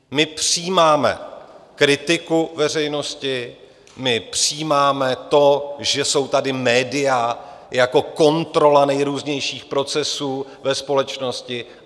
My přijímáme kritiku veřejnosti, my přijímáme to, že jsou tady média jako kontrola nejrůznějších procesů ve společnosti.